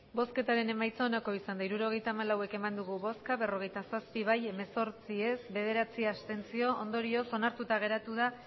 hirurogeita hamalau eman dugu bozka berrogeita zazpi bai hemezortzi ez bederatzi abstentzio ondorioz onartuta geratu da